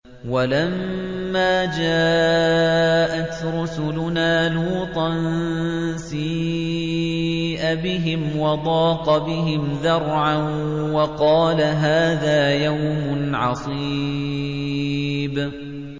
وَلَمَّا جَاءَتْ رُسُلُنَا لُوطًا سِيءَ بِهِمْ وَضَاقَ بِهِمْ ذَرْعًا وَقَالَ هَٰذَا يَوْمٌ عَصِيبٌ